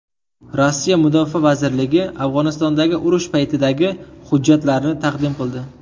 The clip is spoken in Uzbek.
Rossiya Mudofaa vazirligi Afg‘onistondagi urush paytidagi hujjatlarni taqdim qildi.